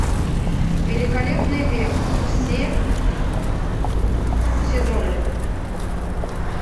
великолепный век все сезоны